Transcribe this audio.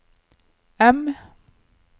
M